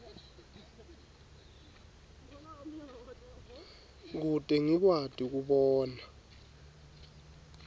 kute ngikwati kubona